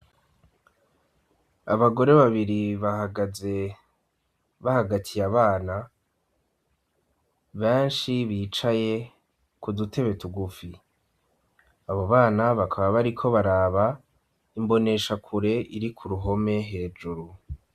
Abagore babiri bahagaze, bahagatiye abana benshi bicaye ku dutebe tugufi, abo bana bakaba bariko baraba imbonesha kure iri ku ruhome hejuru.